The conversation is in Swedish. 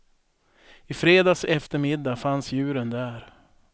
I fredags eftermiddag fanns djuren där.